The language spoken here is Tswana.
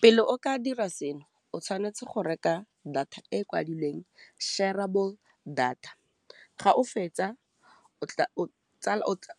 Pele o ka dira seno o tshwanetse go reka data e kwadilweng shareable data, ga o fetsa